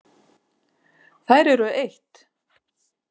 Þær eru eitt.